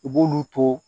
U b'olu to